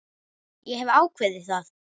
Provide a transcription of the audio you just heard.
Ég hef ákveðið það.